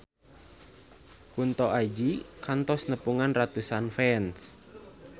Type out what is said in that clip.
Kunto Aji kantos nepungan ratusan fans